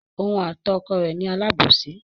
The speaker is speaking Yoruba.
Òun àti ọkọ rẹ̀ ni alábòsí.